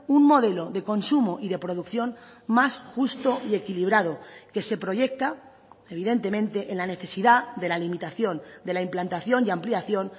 un modelo de consumo y de producción más justo y equilibrado que se proyecta evidentemente en la necesidad de la limitación de la implantación y ampliación